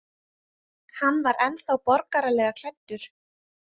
Hann var ennþá borgaralega klæddur.